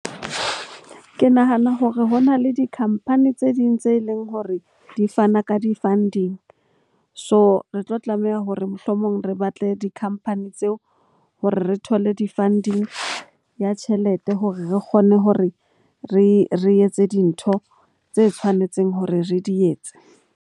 Ke nahana hore ho na le di-company tse ding tse leng hore di fana ka di funding. So, re tlo tlameha hore mohlomong re batle di-company tseo hore re thole di-funding ya tjhelete hore re kgone hore re etse dintho tse tshwanetseng hore re di etse.